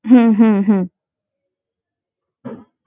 হম হম হম